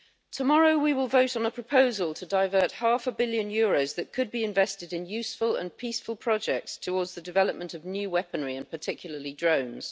Tomorrow we will vote on a proposal to divert half a billion euros, that could be invested in useful and peaceful projects, towards the development of new weaponry, and particularly drones.